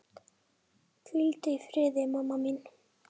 Hvíldu í friði, mamma mín.